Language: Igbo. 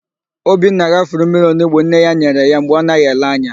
Obinna ghafuru mmiri onigbo nne ya nyere ya mgbe ọ naghị ele anya.